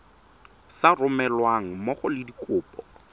sa romelweng mmogo le dikopo